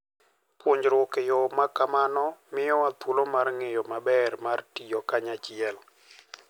Puonjruok e yo ma kamano miyowa thuolo mar ng'eyo ber mar tiyo kanyachiel.